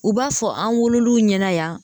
U b'a fɔ an wolol'u ɲɛna yan